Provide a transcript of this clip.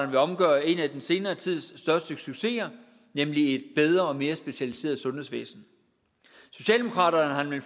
vil omgøre en af den senere tids største succeser nemlig et bedre og mere specialiseret sundhedsvæsen socialdemokraterne har nemlig